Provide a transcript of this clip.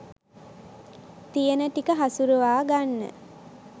තියෙන ටික හසුරවා ගන්න